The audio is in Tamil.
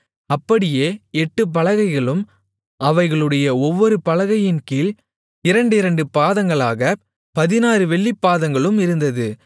அப்படியே எட்டுப் பலகைகளும் அவைகளுடைய ஒவ்வொரு பலகையின் கீழ் இரண்டிரண்டு பாதங்களாகப் பதினாறு வெள்ளிப்பாதங்களும் இருந்தது